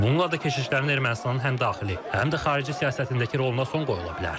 Bununla da keşişlərin Ermənistanın həm daxili, həm də xarici siyasətindəki roluna son qoyula bilər.